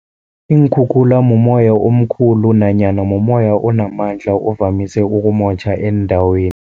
Iinkhukhula mumoya omkhulu nanyana mumoya onamandla ovamise ukumotjha eendaweni.